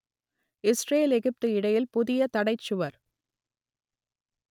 Israel Egypt இடையில் புதிய தடைச் சுவர்